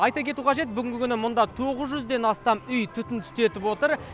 айта кету қажет бүгінгі күні мұнда тоғыз жүзден астам үй түтін түтетіп отыр